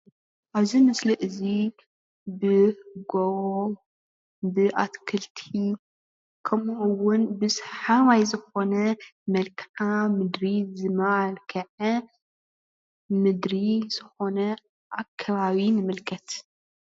ኣብዚ ምስሊ እዚ ብጎቦ ብኣትክልቲ ከምኡ'ውን ብሰሓባይ ዝኮነ መልከዓ ምድሪ ዝመልከዐ ምድሪ ዝኾነ ኣከባቢ ንምልከት።